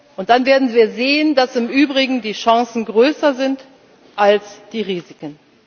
können. Und dann werden wir sehen, dass im Übrigen die Chancen größer sind als die Risiken.